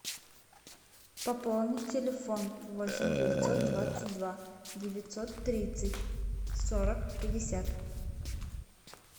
пополнить телефон восемь девятьсот двадцать два девятьсот тридцать сорок пятьдесят